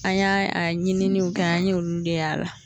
An ya a ɲiniw kɛ an ɲe olu de y'a la.